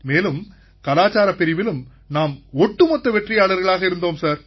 மேலும் கலாச்சாரப் பிரிவிலும் நாம் ஒட்டுமொத்த வெற்றியாளர்களாக இருந்தோம் சார்